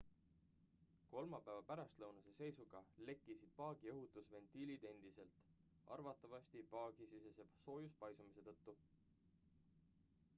kolmapäeva pärastlõunase seisuga lekkisid paagi õhutusventiilid endiselt arvatavasti paagisisese soojuspaisumise tõttu